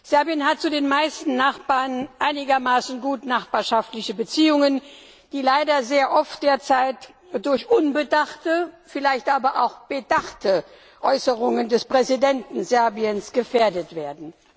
Serbien hat zu den meisten Nachbarn einigermaßen gutnachbarschaftliche Beziehungen, die derzeit leider sehr oft durch unbedachte, vielleicht aber auch bedachte Äußerungen des Präsidenten Serbiens gefährdet werden.